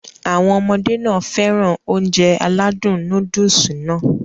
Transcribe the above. Àwọn ọmọdé nàá fẹ́ràn Ounjẹ aládùn nóódùsì Nàá